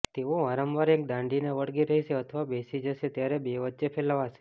તેઓ વારંવાર એક દાંડીને વળગી રહેશે અથવા બેસી જશે ત્યારે બે વચ્ચે ફેલાવશે